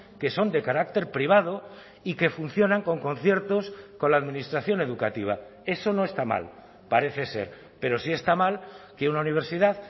que son de carácter privado y que funcionan con conciertos con la administración educativa eso no está mal parece ser pero sí está mal que una universidad